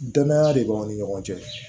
Danaya de b'anw ni ɲɔgɔn cɛ